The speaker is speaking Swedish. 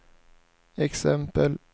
exempel